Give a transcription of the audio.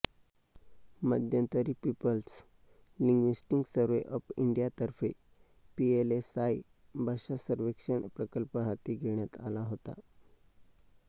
मध्यंतरी people's linguistic survey of इंडियातर्फे PLSI भाषा सर्वेक्षण प्रकल्प हाती घेण्यात आला होता